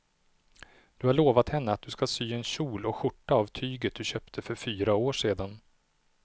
Du har lovat henne att du ska sy en kjol och skjorta av tyget du köpte för fyra år sedan.